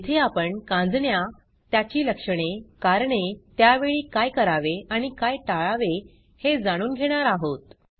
येथे आपण कांजिण्या त्याची लक्षणे कारणे त्यावेळी काय करावे आणि काय टाळावे हे जाणून घेणार आहोत